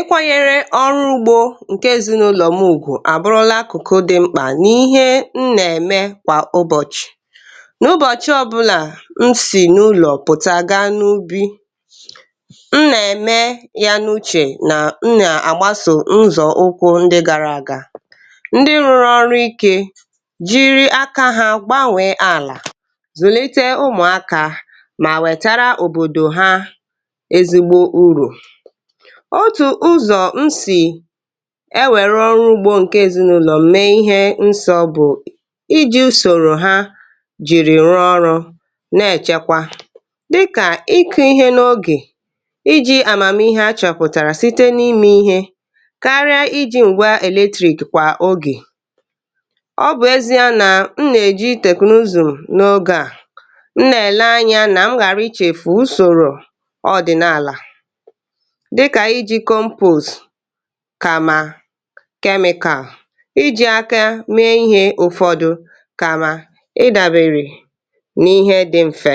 Ịkwanyere ọrụ ugbo nke ezinụlọ m ùgwù abụrụla akụkụ dị mkpa n'ihe m na-eme kwa ụbọchị. N'ụbọchị ọbụla m si n'ụlọ gaa n'ubi, m na-eme ya n'uche na m na-agbaso nzọụkwụ ndị gara aga. Ndị rụrụ ọrụ ike, jiri aka ha gbanwee ala, zulite ụmụaka ma wetara obodo ha ezigbo uru. Otu ụzọ m si ewerụ ọrụ ugbo nke ezinụlọ m mee ihe nsọ bụ iji usoro ha jiri rụọ ọrụ na-echekwa dịka ịkụ ihe n'oge, iji amamihe a chọpụtara site n'ime ihe karịa iji ngwá eletrik kwa oge. Ọ bụ ezie na m na-eji teknụụzụ n'oge a. M nagele anya ka m ghara ichefu usoro ọdịnala dịka iji compost kama chemical, iji aka mee ihe ụfọdụ kama ịdabere n'ihe dị mfe.